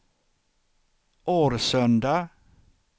Årsunda